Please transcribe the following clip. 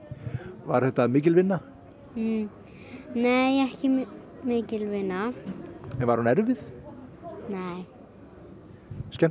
var þetta mikil vinna nei ekki mikil vinna en var hún erfið nei skemmtileg